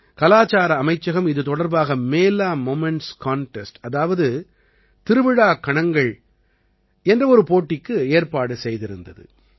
கலாச்சார அமைச்சகம் இது தொடர்பாக மேலா மொமென்ட்ஸ் கன்டெஸ்ட் அதாவது திருவிழா கணங்கள் என்ற ஒரு போட்டிக்கு ஏற்பாடு செய்திருந்தது